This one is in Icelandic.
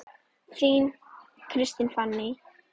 Þín, Kristín Fanný.